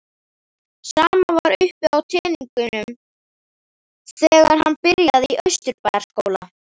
Sama var uppi á teningnum þegar hann byrjaði í Austurbæjarskóla.